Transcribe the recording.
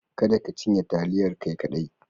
Kada ka cinye taliyar kai kadai.